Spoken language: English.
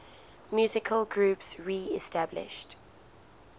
musical groups reestablished